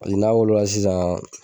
n'a wolo sisan